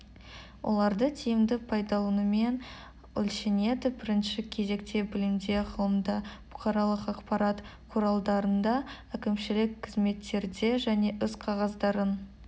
оларды тиімді пайдаланумен өлшенеді бірінші кезекте білімде ғылымда бұқаралық ақпарат құралдарында әкімшілік қызметтерде және іс-қағаздарын